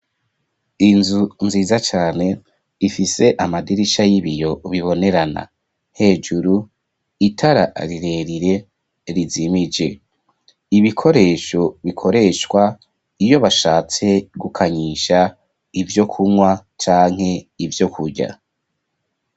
inzu nziza cane , ifise amadirisha y'ibiyo bibonerana , hejuru itara rirerire rizimije . Ibikoresho bikoreshwa iyo bashatse gukanyisha ivyo kunywa canke ivyo kurya.